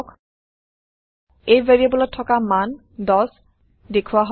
a ভেৰিয়াবোলত থকা মান10 দেখোৱা হব